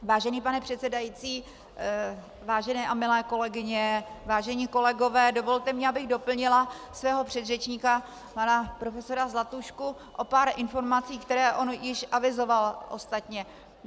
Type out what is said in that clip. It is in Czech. Vážený pane předsedající, vážené a milé kolegyně, vážení kolegové, dovolte mi, abych doplnila svého předřečníka pana profesora Zlatušku o pár informací, které on již avizoval ostatně.